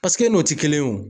n'o tɛ kelen ye o.